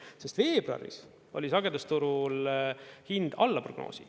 Sest veebruaris oli sagedusturul hind alla prognoosi.